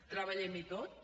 treballem hi tots